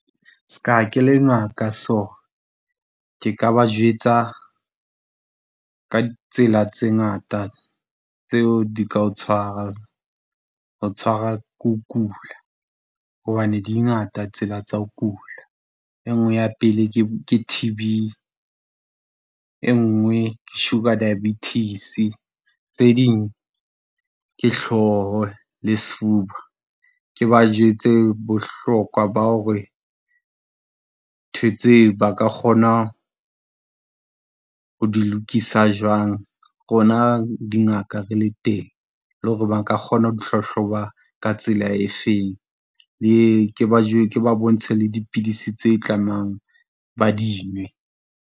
S'ka ke le ngaka so, ke ka ba jwetsa ka tsela tse ngata tseo di ka o tshwarang, ho tshwarwa ke ho kula. Hobane di ngata tsela tsa ho kula. E nngwe ya pele ke, ke T_B, e nngwe ke sugar diabetes, tse ding ke hloho le sefuba. Ke ba jwetse bohlokwa ba hore ntho tseo ba ka kgona ho di lokisa jwang, rona dingaka re le teng, le hore ba nka kgona ho di hlahloba ka tsela efeng. Le ke ba , ke ba bontshe le dipidisi tse tlamehang ba di nwe.